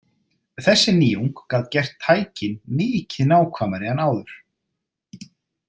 Þessi nýjung gat gert tækin mikið nákvæmari en áður.